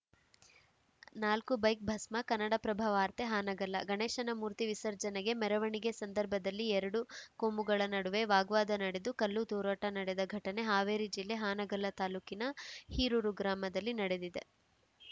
ನಾಲ್ಕು ಬೈಕ್‌ ಭಸ್ಮ ಕನ್ನಡಪ್ರಭ ವಾರ್ತೆ ಹಾನಗಲ್ಲ ಗಣೇಶನ ಮೂರ್ತಿ ವಿಸರ್ಜನೆ ಮೆರವಣಿಗೆ ಸಂದರ್ಭದಲ್ಲಿ ಎರಡು ಕೋಮುಗಳ ನಡುವೆ ವಾಗ್ವಾದ ನಡೆದು ಕಲ್ಲುತೂರಾಟ ನಡೆದ ಘಟನೆ ಹಾವೇರಿ ಜಿಲ್ಲೆ ಹಾನಗಲ್ಲ ತಾಲೂಕಿನ ಹೀರೂರು ಗ್ರಾಮದಲ್ಲಿ ನಡೆದಿದೆ